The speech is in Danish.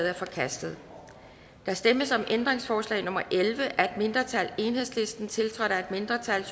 er forkastet der stemmes om ændringsforslag nummer elleve af et mindretal tiltrådt af et mindretal